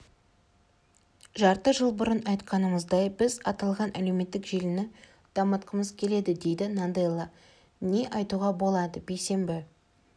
жарты жыл бұрын айтқанымыздай біз аталған әлеуметтік желіні дамытқымыз келеді дейді наделла не айтуға болады бейсенбі